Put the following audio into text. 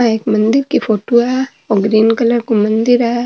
आ एक मन्दिर की फोटो है ओ ग्रीन कलर को मंदिर है।